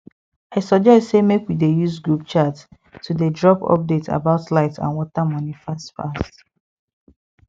i suggest say make we dey use group chat to dey drop update about light and water money fast fast